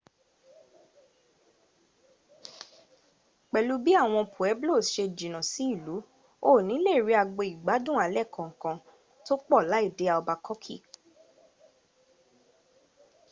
pelu bii awon pueblos se juna si ilu o ni le ri agbo igbadun ale kankan to po lai de albakoki